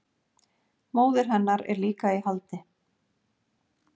Móðir hennar er líka í haldi